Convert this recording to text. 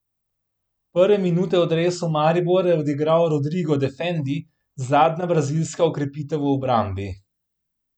Prve minute v dresu Maribora je odigral Rodrigo Defendi, zadnja brazilska okrepitev v obrambi.